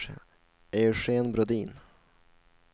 Eugen Brodin